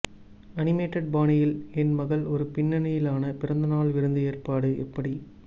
animated பாணியில் என் மகள் ஒரு பின்னணியிலான பிறந்தநாள் விருந்து ஏற்பாடு எப்படி